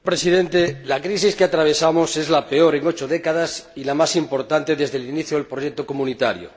Señor Presidente, la crisis que atravesamos es la peor en ocho décadas y la más importante desde el inicio del proyecto comunitario.